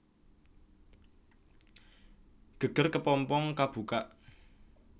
Geger kepompong kabukak